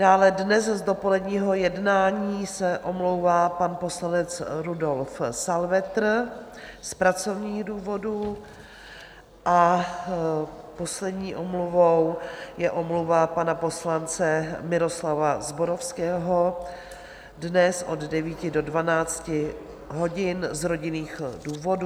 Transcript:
Dále dnes z dopoledního jednání se omlouvá pan poslanec Rudolf Salvetr z pracovních důvodů a poslední omluvou je omluva pana poslance Miroslava Zborovského dnes od 9 do 12 hodin z rodinných důvodů.